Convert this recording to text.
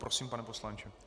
Prosím, pane poslanče.